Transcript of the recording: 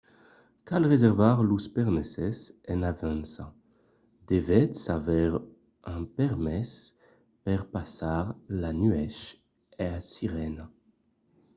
cal reservar los permeses en avança. devètz aver un permés per passar la nuèch a sirena